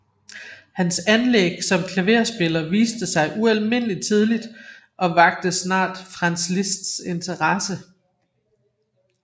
Hans anlæg som klaverspiller viste sig ualminelig tidlig og vakte snart Franz Liszts interesse